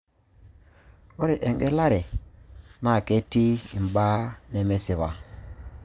Ore engelare naa ketiii imbaaa nemesipa.